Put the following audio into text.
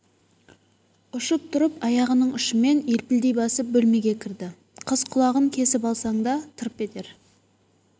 ұшып тұрып аяғының ұшымен елпілдей басып бөлмеге кірді қыз құлағын кесіп алсаң да тырп етер